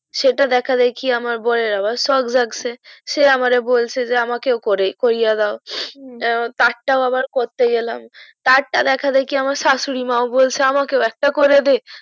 সেটা দেখা দেখি আমার বরের আবার শক জাগছে সে আমারে বলছে যে আমাকেও করে কোরিয়া দাও তার টাও আবার করতে গেলাম তার টা দেখা দেখি আমার শাশুরি মা বলছে আমাকেও একটা করে দে